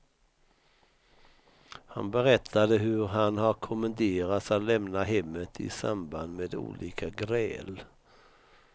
Han berättade hur han har kommenderats att lämna hemmet i samband med olika gräl.